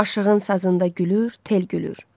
Aşığın sazından da gülür, tel gülür.